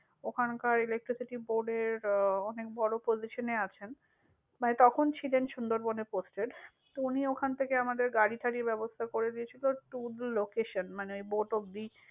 ওখানকার electricity board ah এর অনেক বড়ো position আছেন। like তখন ছিলেন সুন্দরবন এ posted । তো উনি ওখান থেকে আমাদের গাড়ি-টারির যে ব্যবস্থা করে দিয়েছিল to the location মানে boat অব্দি।